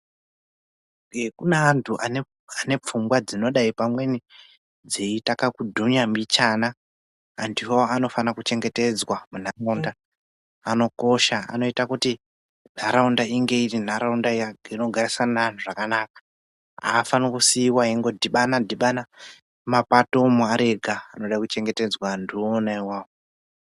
Hee kune antu ane pfungwa dzinodai pamweni dzeita kakudhunya mbichana. Antuwo anofana kuchengetedzwa muntaraunda anokosha anoita kuti ntaraunda inge iri ntaraunda inogarisana neantu zvakanaka. Aafani kusiiwa eingodhibana dhibana mumapato umwo ari ega. Anode kuchengetedzwa antu iwona iwawo.